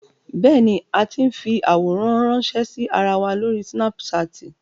Bẹ́ẹ̀ni, a ti ń fi àwòrán ránńṣẹ́ sí ara wa lórí súnápúṣaàtì.